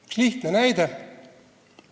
Üks lihtne näide.